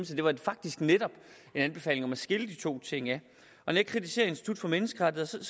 det var faktisk netop en anbefaling om at skille de to ting ad når jeg kritiserer institut for menneskerettigheder